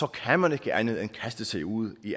kan man ikke andet end kaste sig ud i